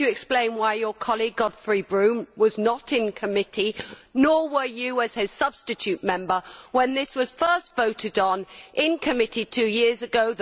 Could you explain why your colleague Godfrey Bloom was not in committee, nor were you, as his substitute member, when this was first voted on in committee two years ago?